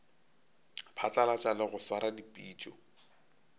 phatlalatša le go swara dipitšo